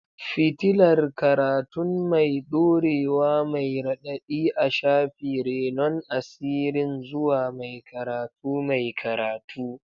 fitilar karatun mai dorewa mai raɗaɗi a shafi, renon asirin zuwa mai karatu mai karatu.